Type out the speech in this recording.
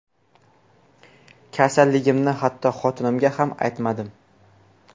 Kasalligimni hatto xotinimga ham aytmadim.